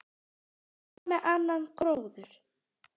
En hvað með annan gróður?